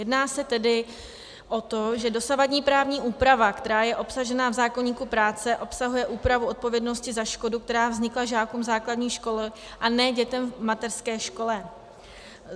Jedná se tedy o to, že dosavadní právní úprava, která je obsažena v zákoníku práce, obsahuje úpravu odpovědnosti za škodu, která vznikla žákům základních škol, a ne dětem v mateřské škole.